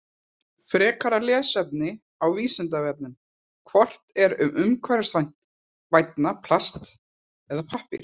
Frekara lesefni á Vísindavefnum: Hvort er umhverfisvænna, plast eða pappír?